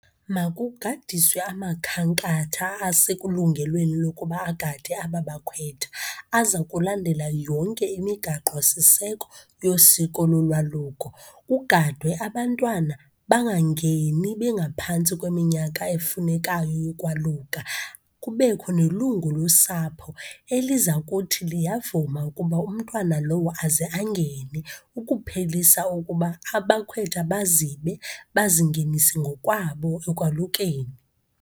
Makugadiswe amakhankatha ase kulungelweni lokuba agade aba bakhwetha, aza kulandela yonke imigaqosiseko yosiko lolwaluko. Kugadwe abantwana bangangeni bengaphantsi kweminyaka efunekayo yokwaluka, kubekho nelungu losapho eliza kuthi liyavuma ukuba umntwana lowo aze angene ukuphelisa ukuba abakhwetha bazibe, bazingenise ngokwabo ekwalukeni.